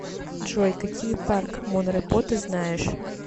джой какие парк монрепо ты знаешь